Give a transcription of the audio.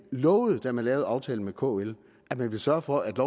lovede da man lavede aftalen med kl at man ville sørge for at